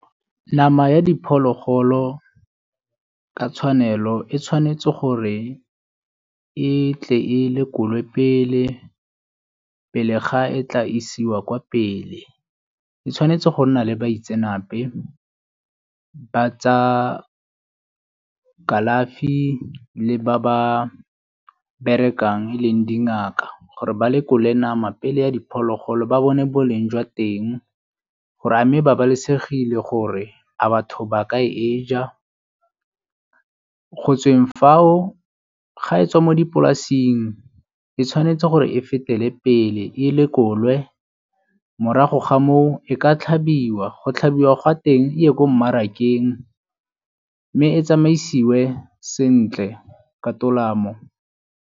Nama ya diphologolo ka tshwanelo e tshwanetse gore e tle e lekolwe pele, pele ga e tla isiwa kwa pele. E tshwanetse go nna le baitsenape ba tsa kalafi le ba ba berekang e leng dingaka gore ba lekole nama pele ya diphologolo ba bone boleng jwa teng gore a mme e babalesegile gore a batho baka e ja, go tsweng fao ga e tswa mo dipolasing e tshwanetse gore e fetele pele e lekolwe morago ga moo e ka tlhabiwa. Go tlhabiwa gwa teng e ye ko mmarakeng mme e tsamaisiwe sentle ka tolamo.